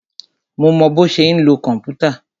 Mo mọ bọ́ ṣe ń lo kòmpútà.